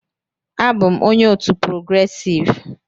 Abụ m onye otu "progressive"